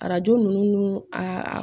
Arajo ninnu n'u a